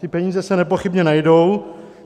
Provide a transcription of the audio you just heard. Ty peníze se nepochybně najdou.